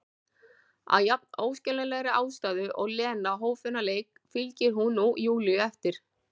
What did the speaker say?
Af jafn óskiljanlegri ástæðu og Lena hóf þennan leik fylgir hún nú Júlíu eftir.